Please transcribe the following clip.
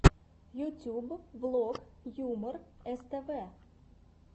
ютьюб влог юмор ств